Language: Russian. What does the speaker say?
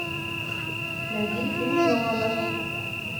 найди фильм нолана